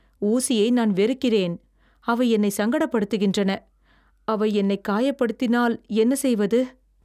ஊசியை நான் வெறுக்கிறேன், அவை என்னை சங்கடப்படுத்துகின்றன. அவை என்னைத் காயப்படுத்தினால் என்ன செய்வது?